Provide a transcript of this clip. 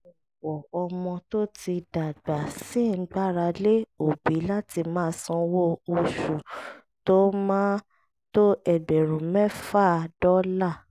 ọ̀pọ̀ ọmọ tó ti dàgbà ṣì ń gbára lé òbí láti máa sanwó oṣù tó máa tó ẹgbẹ̀rún mẹ́fà dọ́là